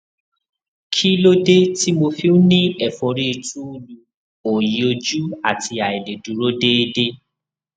kí ló dé tí mo fi ń ní ẹfọrí túúlu òòyì ojú àti àìlèdúró déédé